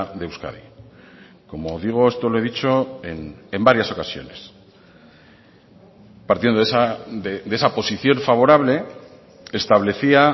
de euskadi como digo esto lo he dicho en varias ocasiones partiendo de esa posición favorable establecía